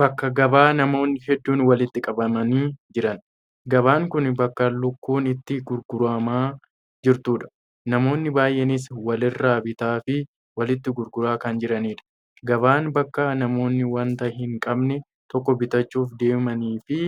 Bakka gabaa namoonni hedduun walitti qabamanii jiran. Gabaan kun bakka lukkuun itti gurguramaa jirtudha. Namoonni baay'eenis walirraa bitaa fi walitti gurguraa kan jiranidha. Gabaan bakka namoonni wanta hin qabne tokko bitachuuf deemanii fi